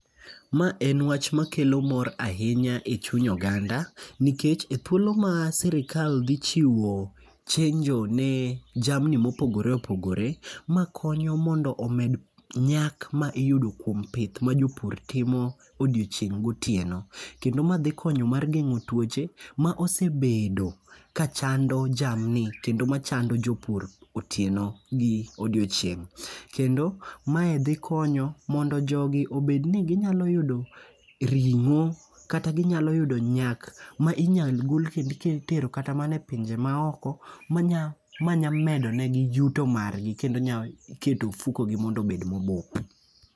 Ma en wach makelo mor ahinya e chuny oganda, nikech e thuolo ma sirikal dhi chiwo chenjo ne jamni mopogore opogore. Ma konyo mondo omed nyak ma iyudo kuom pith ma jopur timo odieochieng' gotieno. Kendo ma dhikonyo geng'o tuoche ma osebedo ka chando jamni kendo machando jopur otieno gi odiochieng'. Kendo, mae dhi konyo mondo jogi obed ni ginyalo yudo ring'o kata ginyalo yudo nyak ma inyal gol kenditero kata mana e pinje maoko. Ma nyamedonegi yuto margi kendo nya keto ofuko gi mondo obed mobup.